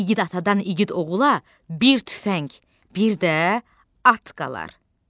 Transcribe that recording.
İgid atadan igid oğula bir tüfəng, bir də at qalar.